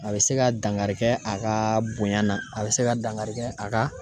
A bɛ se ka dankari kɛ a ka bonya na a bɛ se ka dangarikɛ a ka